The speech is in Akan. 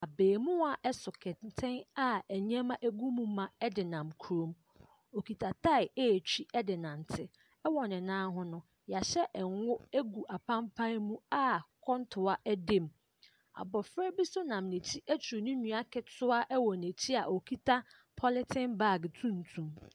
Abeemua so kentɛn a nneɛma gu mu ma de nam kurom. Ɔkita tae retw de renante. Wɔ ne nan ho, wɔahyɛ ngo gu apampan mu a kɔntoa da mu. Abɔfra bi nso nam n'akyi aturu ne nua ketewa wɔ n'akyi a ɔkuta pɔleten baage tuntum.